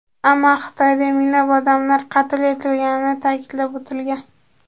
Ammo Xitoyda minglab odamlar qatl etilganini ta’kidlab o‘tilgan.